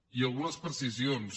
i algunes precisions